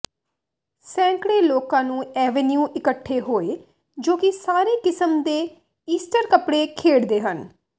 ਸੈਂਕੜੇ ਲੋਕਾਂ ਨੂੰ ਐਂਵੇਨਿਊ ਇਕੱਠੇ ਹੋਏ ਜੋ ਕਿ ਸਾਰੇ ਕਿਸਮ ਦੇ ਈਸਟਰ ਕੱਪੜੇ ਖੇਡਦੇ ਹਨ